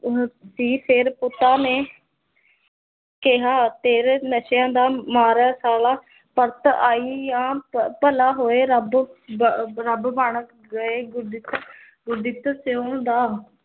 ਦੀ ਫੇਰ ਪੁੱਤਾਂ ਨੇ ਕਿਹਾ ਤੇਰੇ ਨਸ਼ਿਆਂ ਦਾ ਮਾਰਾ ਸਾਲਾ ਪਰਤ ਆਈ ਆ ਭ ਭਲਾ ਹੋਏ ਰੱਬ ਰੱਬ ਬਣ ਗਏ ਗੁਰਦਿੱਤ ਸਿਉਂ ਦਾ